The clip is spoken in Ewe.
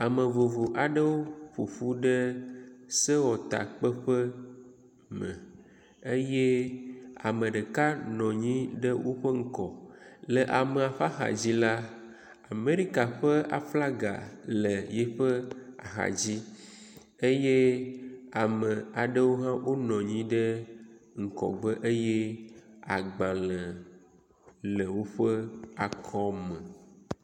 Ame vovovo aɖewo ƒoƒu ɖe sewɔtakpeƒe me eye ame ɖeka nɔ anyi ɖe woƒe ŋgɔ. Le amea ƒe axadzi la, Amɛrika ƒe aflaga le yiƒe axadzi eye ame aɖewo hã wonɔ anyi ɖe ŋgɔgbe eye agbalẽ le woƒe akɔme.